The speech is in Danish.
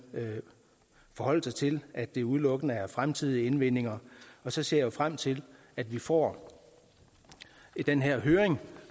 forholde sig til at det udelukkende er fremtidige indvindinger så ser jeg frem til at vi får den her høring